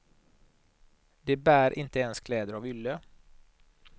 De bär inte ens kläder av ylle.